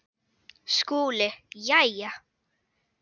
SKÚLI: Jæja!